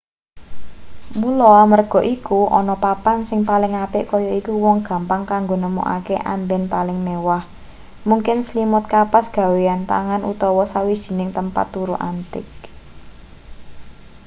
mula amarga iku ana papan sing paling apik kaya iku uwong gampang kanggo nemokake amben paling mewah mungkin slimut kapas gawenan tangan utawa sawijining tempat turu antik